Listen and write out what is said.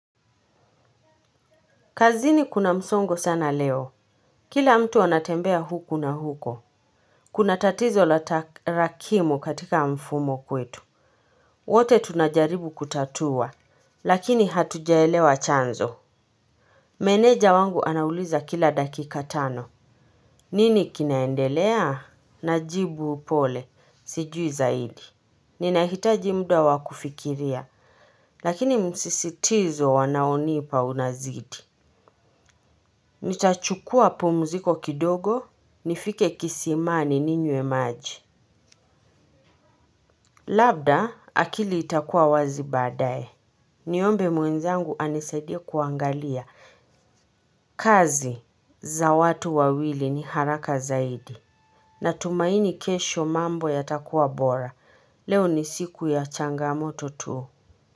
Kazini kuna msongo sana leo. Kila mtu anatembea huku na huko. Kuna tatizo la tarakimu katika mfumo kwetu. Wote tunajaribu kutatua. Lakini hatujaelewa chanzo. Meneja wangu anauliza kila dakika tano. Nini kinaendelea? Najibu upole. Sijui zaidi ninahitaji muda wa kufikiria lakini msisitizo wanaonipa unazidi. Nitachukua pumuziko kidogo. Nifike kisimani ni nywe maji. Labda akili itakuwa wazi baadaye. Niombe mwenzangu anisaidia kuangalia. Kazi za watu wawili ni haraka zaidi natumaini kesho mambo yatakuwa bora leo ni siku ya changamoto tu.